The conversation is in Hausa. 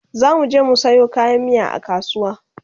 zamuje mu Sayo kayan miya a kasuwa